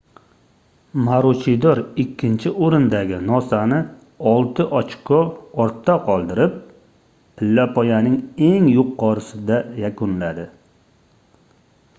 maruchidor ikkinchi oʻrindagi nosani olti ochko ortda qoldirib pillapoyaning eng yuqorisida yakunladi